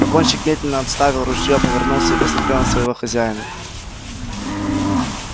погонщик медленно отставил ружьё повернулся и посмотрел на своего хозяина